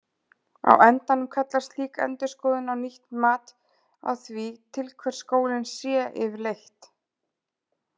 Á endanum kallar slík endurskoðun á nýtt mat á því til hvers skólinn sé yfirleitt.